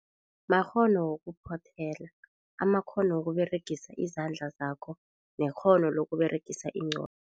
Makghono wokuphothela, amakghono uwokuberegisa izandla zakho nekghono lo ukuberegisa ingqondo.